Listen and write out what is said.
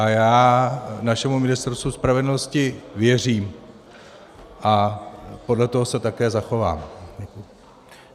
A já našemu Ministerstvu spravedlnosti věřím a podle toho se také zachovám.